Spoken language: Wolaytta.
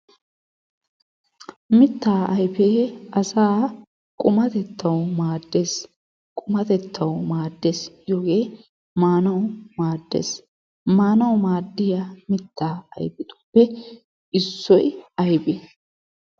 Mittaa ayfee asaa qumatettawu maaddees. Qumatettawu maaddees giyogee maanawu maaddees. Maanawu maaddiya mittaa ayfetuppe issoy aybee?